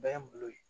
Bɛɛ ye n bolo ye